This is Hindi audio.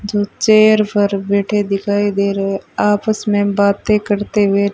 जो चेयर पर बैठे दिखाई दे रहे आपस में बाते करते हुए--